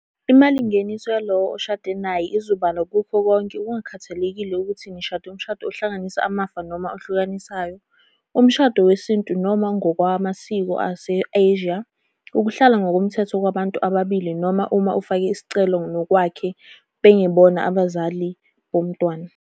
Imalingeniso yalowo oshade naye izobalwa kukho konke kungakhathalekile ukuthi nishade umshado ohlanganisa amafa noma ohlukanisayo, umshado wesintu noma ngokwamasiko ase-Asia, ukuhlala ngokomthetho kwabantu ababili noma uma ofake isicelo nowakwakhe bengebona abazali bomntwana.